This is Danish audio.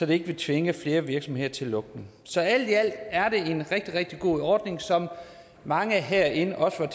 vil tvinge flere virksomheder til lukning så alt i alt er det en rigtig rigtig god ordning som mange herinde også er